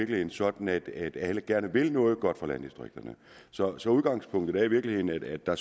det sådan at at alle gerne vil noget godt for landdistrikterne så så udgangspunktet er i virkeligheden at der